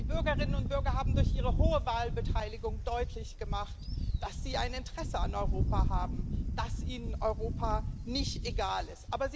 Die Bürgerinnen und Bürger haben durch ihre hohe Wahlbeteiligung deutlich gemacht, dass sie ein Interesse an Europa haben, dass ihnen Europa nicht egal ist.